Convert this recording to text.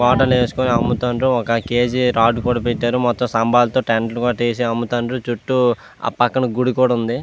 వేసుకొని అమ్ముతుండ్రు ఒక కేజీ రాళ్లు కూడా పెట్టారు. మొత్తం సాంబాన్ తో టెంట్ లు కూడా వేశారు. చుట్టూ ఆ పక్కన గుడి కూడా ఉంది.